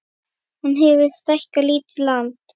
Hann hefur stækkað lítið land